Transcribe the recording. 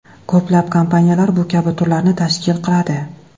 Ko‘plab kompaniyalar bu kabi turlarni tashkil qiladi.